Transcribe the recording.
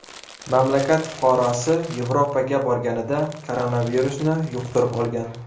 Mamlakat fuqarosi Yevropaga borganida koronavirusni yuqtirib olgan.